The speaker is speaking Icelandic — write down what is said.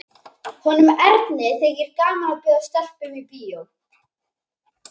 Honum Erni þykir gaman að bjóða stelpum í bíó.